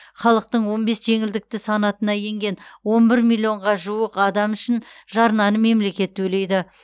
халықтың он бес жеңілдікті санатына енген он бір миллионға жуық адам үшін жарнаны мемлекет төлейді